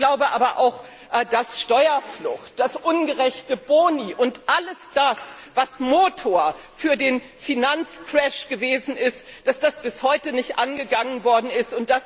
Ich glaube aber auch, dass Steuerflucht, ungerechte Boni und alles das, was Motor für den Finanzcrash gewesen ist, dass das bis heute nicht angegangen worden ist.